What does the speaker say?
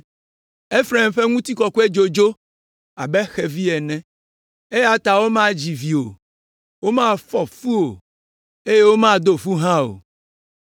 Efraim ƒe ŋutikɔkɔe dzo, dzo abe xevi ene, eya ta womadzi vi o, womafɔ fu o, eye womado fu hã o